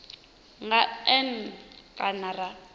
nga n e kana ra